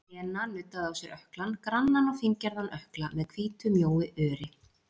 Lena nuddaði á sér ökklann, grannan og fíngerðan ökkla með hvítu mjóu öri.